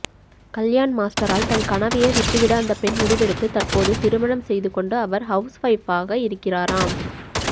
கல்யாண் மாஸ்டரால் தன் கனவையே விட்டுவிட அந்த பெண் முடிவெடுத்து தற்போது திருமணம் செய்துகொண்டு அவர் ஹவுஸ்வைப்பாக இவர்கிறாராம்